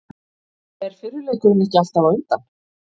Er fyrri leikurinn ekki alltaf á undan?